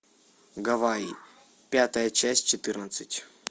гавайи пятая часть четырнадцать